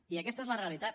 i aquesta és al realitat